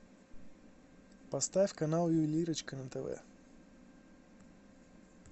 поставь канал ювелирочка на тв